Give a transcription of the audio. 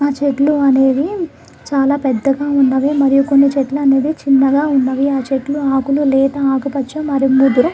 ఆ చెట్లు అనేవి చాలా పెద్దగా ఉన్నవి. మరియు కొన్ని చెట్లు అనేవి చిన్నగా ఉన్నవి. ఆ చెట్ల ఆకులు లేత ఆకుపచ్చ మరియు ముదర--